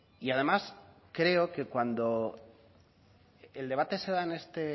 y además creo que cuando el debate se da en este